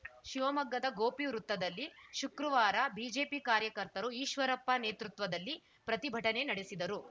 ಶಿವಮೊಗ್ಗದ ಗೋಪಿ ವೃತ್ತದಲ್ಲಿ ಶುಕ್ರವಾರ ಬಿಜೆಪಿ ಕಾರ್ಯಕರ್ತರು ಈಶ್ವರಪ್ಪ ನೇತೃತ್ವದಲ್ಲಿ ಪ್ರತಿಭಟನೆ ನಡೆಸಿದರು